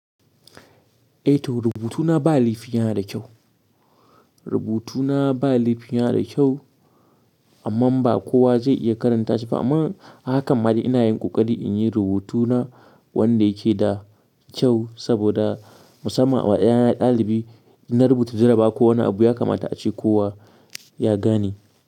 Eh to, rubutuna ba laifi ya nada kyau. Rubutuna ba laifi ya na da kyau, amman ba kowa zai iya karanta shi ba. Amma a hakan ma dai ina yin ƙoƙari in yi rubutuna wanda yake da kyau saboda musamman wa ƴaƴan ɗalibi inna rubuta jarabawa ko wani abu ya kamata a ce kowa ya gane.